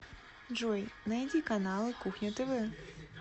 джой найди каналы кухня тв